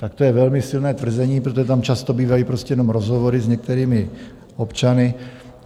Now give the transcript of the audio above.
Tak to je velmi silné tvrzení, protože tam často bývají prostě jenom rozhovory s některými občany.